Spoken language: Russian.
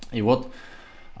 и вот